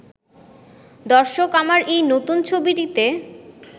'দর্শক আমার এই নতুন ছবিটিতে